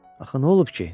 Axı nə olub ki?